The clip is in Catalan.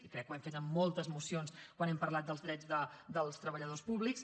crec que ho hem fet en moltes mocions quan hem parlat dels drets dels treballadors públics